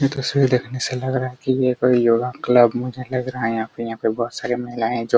यह तस्वीर देखने से लग रहा है की यह कोई योगा क्लब लग रहा है मुझे यहाँ पे बहुत सारी महिलाये --